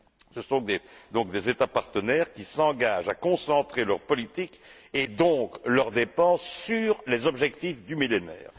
Ce sont des États partenaires qui s'engagent à concentrer leur politique et partant, leurs dépenses sur les objectifs du Millénaire.